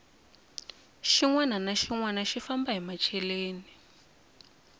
xinwani na xinwani xi famba hi machereni